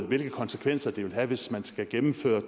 hvilke konsekvenser det vil have hvis man skal gennemføre